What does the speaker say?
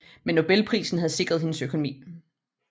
Men Nobelprisen havde sikret hendes økonomi